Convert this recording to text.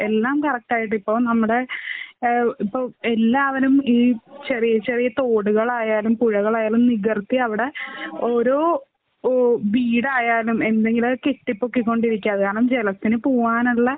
എല്ലാം കറക്ട് ആയിട്ട്. ഇപ്പൊ നമ്മുടെ ആഹ് ഇപ്പൊ എല്ലാവരും ഈ ചെറിയ ചെറിയ തോടുകളായാലും പുഴകളായാലും നികത്തി അവിടെ ഓരോ ഓ വീടായാലും എന്തെങ്കിലൊക്കെ കെട്ടിപൊക്കിരിക്കാ. അത് കാരണം ജലത്തിനു പൂവ്വാനുള്ള